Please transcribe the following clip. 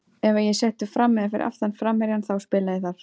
Ef að ég er settur fram eða fyrir aftan framherjann þá spila ég þar.